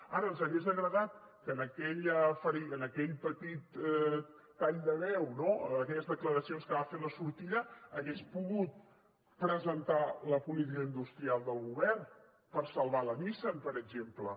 ara ens hagués agradat que en aquell petit tall de veu no en aquelles declaracions que va fer a la sortida hagués pogut presentar la política industrial del govern per salvar la nissan per exemple